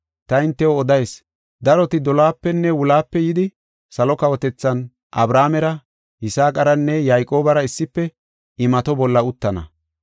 Ta hintew odayis; daroti dolohapenne wulohape yidi, salo kawotethan Abrahaamera, Yisaaqaranne Yayqoobara issife imato bolla uttana.